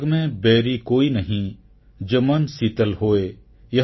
jug ମେଁ ବୈରୀ କୋଇ ନହିଁ ଜୋ ମନ୍ ଶୀତଲ୍ ହୋୟ